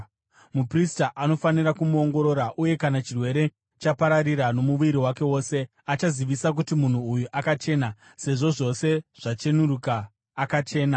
muprista anofanira kumuongorora uye kana chirwere chapararira nomuviri wake wose, achazivisa kuti munhu uyu akachena, sezvo zvose zvachenuruka, akachena.